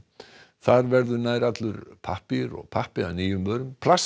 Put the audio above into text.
þar verður nær allur pappír og pappi að nýjum vörum plastið